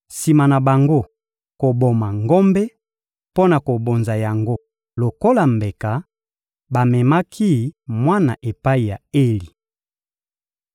Sima na bango koboma ngombe mpo na kobonza yango lokola mbeka, bamemaki mwana epai ya Eli.